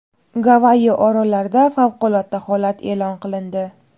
Gavayi orollarida favqulodda holat e’lon qilindi.